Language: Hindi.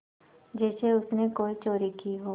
जैसे उसने कोई चोरी की हो